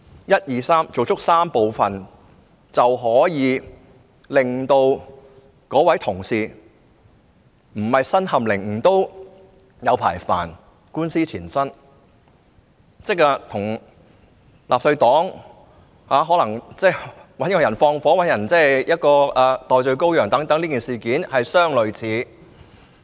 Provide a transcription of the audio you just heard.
一、二、三，做足這3部分，便可以令有關同事不是身陷囹圄，也官司纏身，煩惱很久，即與我剛才提到的故事，納粹黨可能找人縱火或找人頂罪等事件相類似。